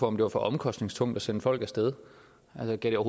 om det var for omkostningstungt at sende folk af sted altså gav